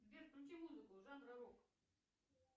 сбер включи музыку жанра рок